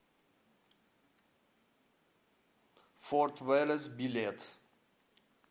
форд вэлес билет